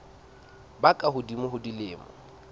ba ka hodimo ho dilemo